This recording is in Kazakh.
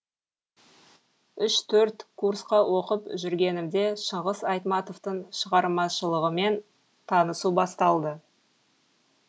үш төрт курсқа оқып жүргенімде шыңғыс айтматовтың шығармашылығымен танысу басталды